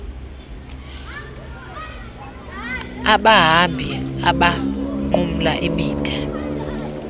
abahambi abanqumla imida